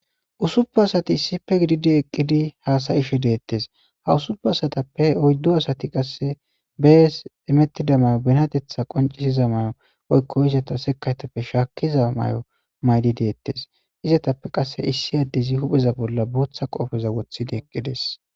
Usupe asati issife gididi eqqidi haasayishe deettes ha usupe asatappe oyddo asati qasse bees emettida mayo benatetha qoncisiza may'o oykko izata sekaytappe shaakkiza may'o maydi deettes izatappe qasse issi addezi hupheza bolla bootha qoofeza wothidi eqqides.